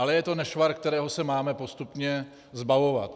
Ale je to nešvar, kterého se máme postupně zbavovat.